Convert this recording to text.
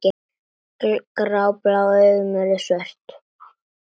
Gráblá augun urðu svört.